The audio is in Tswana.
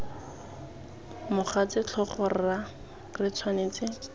mogatse tlhogo rra re tshwanetse